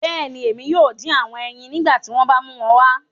Bẹẹni, Emi yoo din awọn ẹyin nigbati wọn ba mu wọn wá